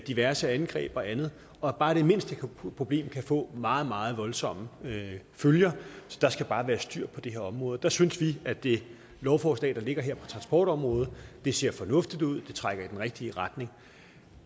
diverse angreb og andet og bare det mindste problem kan få meget meget voldsomme følger så der skal bare være styr på det her område der synes vi at det lovforslag der ligger her på transportområdet ser fornuftigt ud og det trækker i den rigtige retning